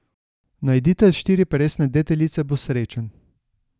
Najditelj štiriperesne deteljice bo srečen.